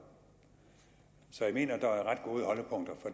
så jeg mener der